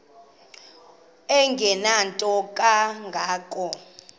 engenanto kanga ko